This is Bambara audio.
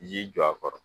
Ji jɔ a kɔrɔ